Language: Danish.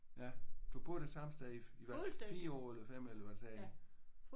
Ja du boede det samme sted i hvad 4 år eller 5 eller hvad sagde de?